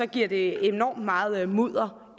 giver det enormt meget mudder